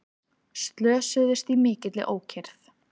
Slösuðust í mikilli ókyrrð